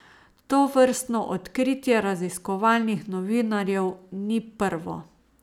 Tovrstno odkritje raziskovalnih novinarjev ni prvo.